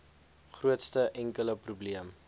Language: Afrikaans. grootste enkele probleem